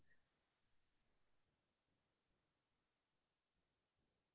অহ্‌ তুমি কেনেকুৱা গান গাই ভাল পোৱা